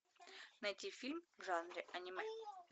найти фильм в жанре аниме